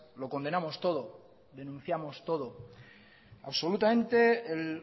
lo condenamos todo denunciamos todo absolutamente el